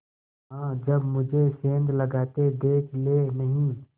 हाँ जब मुझे सेंध लगाते देख लेनहीं